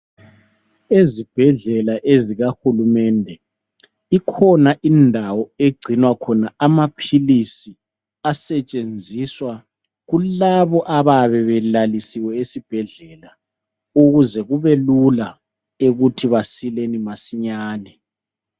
Ezibhedlela ezika hulumende ikhona indawo egcinwa khona amaphilisi asetshenziswa kulabo abayabe belalisiwe esibhedlela ukuze kubelula ukuthi besile masinyane.